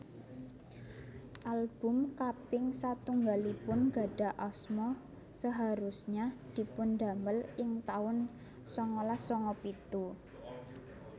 Album kaping satunggalipun gadhah asma Seharusnya dipundamel ing taun sangalas sanga pitu